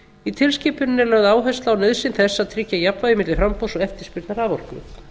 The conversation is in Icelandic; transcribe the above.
í tilskipuninni er lögð áhersla á nauðsyn þess að tryggja jafnvægi milli framboðs og eftirspurnar raforku